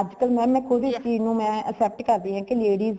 ਅੱਜ ਕੱਲ mam ਮੇ ਖੁਦ੍ਹ ਇਸ ਚੀਜ ਨੂੰ except ਕਰਦੀ ਹਾਂ। ਕੀ ladies